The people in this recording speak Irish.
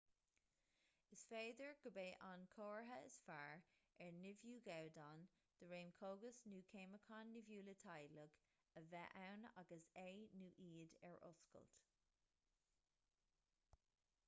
is féidir gurb é an comhartha is fearr ar nimhiú gabhdán de réim cógas nó ceimiceáin nimhiúla teaghlaigh a bheith ann agus é nó iad ar oscailt